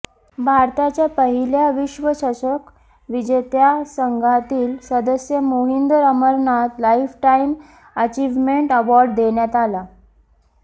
भारताच्या पहिल्या विश्वचषक विजेत्या संघातील सदस्य Mohinder Amarnath lifetime achievement award देण्यात आला